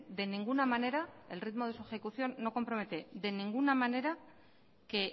de ninguna manera el ritmo de su ejecución no compromete de ninguna manera que